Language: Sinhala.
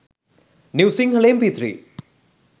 new sinhala mp3